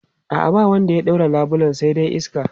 A'a, ba wanda ya ɗaure labulen sai dai iska.